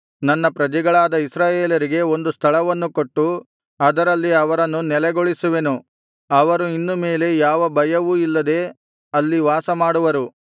ನನ್ನ ಪ್ರಜೆಗಳಾದ ಇಸ್ರಾಯೇಲರಿಗೆ ಒಂದು ಸ್ಥಳವನ್ನು ಕೊಟ್ಟು ಅದರಲ್ಲಿ ಅವರನ್ನು ನೆಲೆಗೊಳಿಸುವೆನು ಅವರು ಇನ್ನು ಮೇಲೆ ಯಾವ ಭಯವೂ ಇಲ್ಲದೆ ಅಲ್ಲಿ ವಾಸಮಾಡುವರು